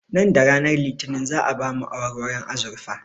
Nan da ranar litinin za'a ba mu awarwaron azurfa